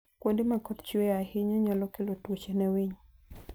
Kuonde ma koth chue ahinya nyalo kelo tuoche ne winy.